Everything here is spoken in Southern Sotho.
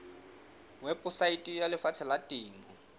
weposaeteng ya lefapha la temo